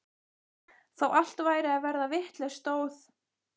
Þó allt væri að verða vitlaust stóð